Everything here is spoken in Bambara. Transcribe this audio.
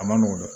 A ma nɔgɔn dɛ